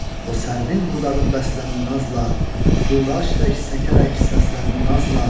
O sərvin budağı bəsləndi nazla, Turac tək səkərək səsləndi nazla.